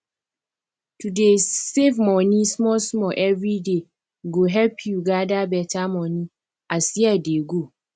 to dey save money small small everyday go help you gather better money as year dey go